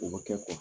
O bɛ kɛ